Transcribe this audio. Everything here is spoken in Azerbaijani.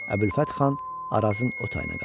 Əbülfət xan Arazın o tayına qaçdı.